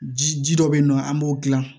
Ji ji dɔ be yen nɔ an b'o gilan